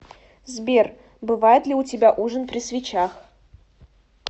сбер бывает ли у тебя ужин при свечах